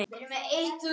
Kom heim!